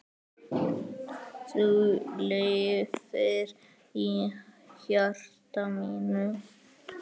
Þú lifir í hjarta mínu.